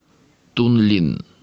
тунлин